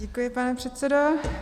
Děkuji, pane předsedo.